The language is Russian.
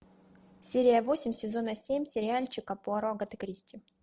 серия восемь сезона семь сериальчика пуаро агаты кристи